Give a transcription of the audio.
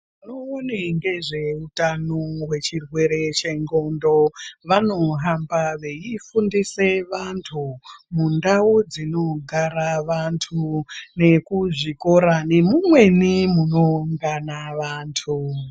Vanoone nezve utano hwe chirwere chendhlondo vanohamba veifundisa vantu mundau dzinogara vantu nekuzvikora nemumweni munoungana vantu.